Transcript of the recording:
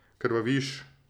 Krvaviš.